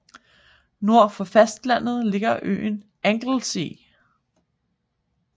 Nord for fastlandet ligger øen Anglesey